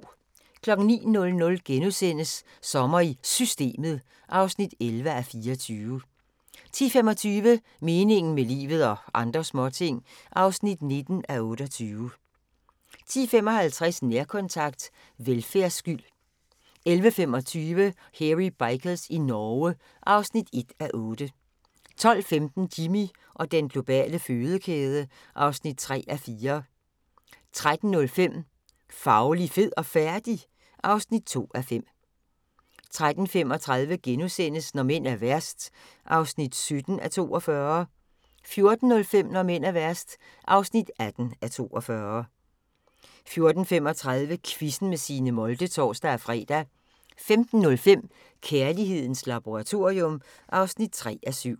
09:00: Sommer i Systemet (11:24)* 10:25: Meningen med livet – og andre småting (19:28) 10:55: Nærkontakt – Velfærdsskyld 11:25: Hairy Bikers i Norge (1:8) 12:15: Jimmy og den globale fødekæde (3:4) 13:05: Fauli, fed og færdig? (2:5) 13:35: Når mænd er værst (17:42)* 14:05: Når mænd er værst (18:42) 14:35: Quizzen med Signe Molde (tor-fre) 15:05: Kærlighedens laboratorium (3:7)